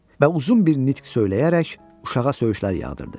və uzun bir nitq söyləyərək uşağa söyüşlər yağdırdı.